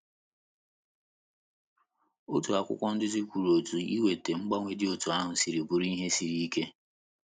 Otu akwụkwọ nduzi kwuru otú iweta mgbanwe dị otú ahụ si bụrụ ihe siri ike.